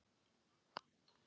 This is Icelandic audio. Annað mótið búið!